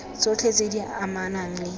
tsotlhe tse di amanang le